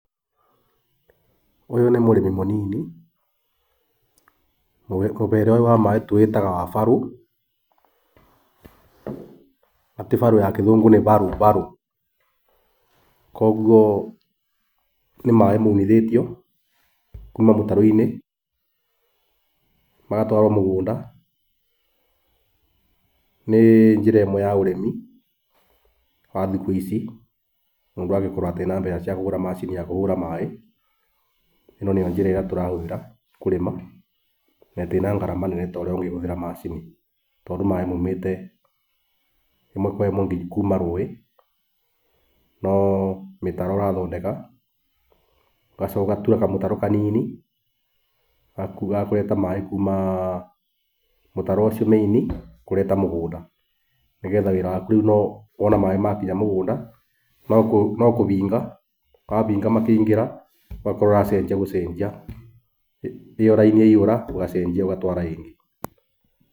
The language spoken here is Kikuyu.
Ũyũ nĩ mũrĩmi mũnini, mũhere ũyũ wa maĩ tũwĩtaga wa barũ, na ti barũ ya kĩnungu nĩ barũ, barũ. Koguo nĩ maĩ maunithĩtio kuma mũtaroini, magatwarwo mũgũnda, nĩ njĩra ĩmwe ya ũrĩmi wa thikũ ici mũndũ angĩkorwo atarĩ na mbeca cia kũgũra macini ya kũhũra maĩ, ĩno nĩyo njĩra ĩrĩa turahũthĩra kũrĩma na ndĩrĩ na ngarama nene torĩa ũngĩhũthĩra macini, tondũ maĩ maũmĩte ĩmwe kwa ĩmwe kuma rũĩ, no mĩtaro ũrathondeka, ũgacoka ũgatua kamũtaro kanini, gakũrehe maĩ kuma mũtaro ũcio main kũrehe mũgũnda. Nĩgetha wira waku rĩu no wona maĩ maku makinya mũgũnda no kuhinga ,wahinga makĩi ngĩra, ũgakorwo ũraceenjia gũcenjia, ĩyo raini yaihũra ugacenjia ũgatwara ingĩ.